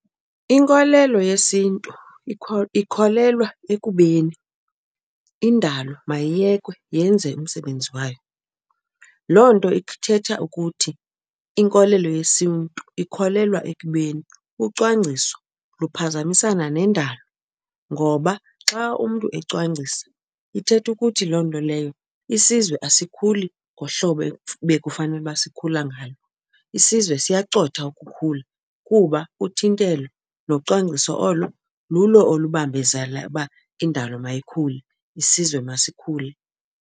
Inkolelo yesiNtu ikholelwa ekubeni indalo mayiyekwe yenze umsebenzi wayo. Loo nto ithetha ukuthi inkolelo yesiNtu ikholelwa ekubeni ucwangciso luphazamisana nendalo ngoba xa umntu ecwangcisa ithetha ukuthi loo nto leyo isizwe asikhuli ngohlobo ebekufanele uba sikhula ngalo. Isizwe siyacotha ukukhula kuba uthintelo nocwangciso olo lulo olubambezala uba indalo mayikhule isizwe masikhule.